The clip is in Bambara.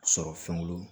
Sɔrɔ fɛnw bolo